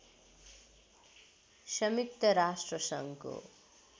संयुक्त राष्ट्रसङ्घको